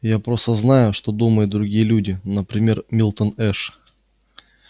я просто знаю что думают другие люди например милтон эш